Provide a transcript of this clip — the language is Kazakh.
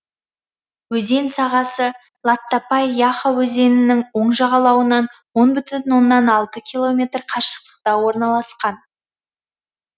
өзен сағасы латтапай яха өзенінің оң жағалауынан он бүтін оннан алты километр қашықтықта орналасқан